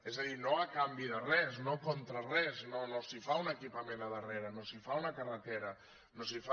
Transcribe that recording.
és a dir no a canvi de res no contra res no no s’hi fa un equipament al darrere no s’hi fa una carretera no s’hi fa